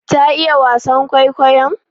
Ta iya wasan kwaikwayon?